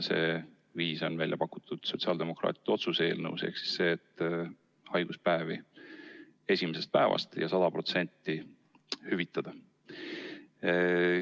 See viis on välja pakutud sotsiaaldemokraatide otsuse eelnõus: haiguspäevi võiks esimesest päevast ja 100% hüvitada.